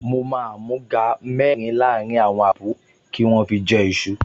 Mo máa àmúga mẹ́rin láàrín àwọn àbúrò kí wọ́n fi jẹ iṣu